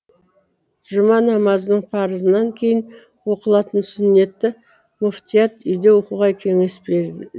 жұма намазының парызынан кейін оқылатын сүннетті мүфтият үйде оқуға кеңес берді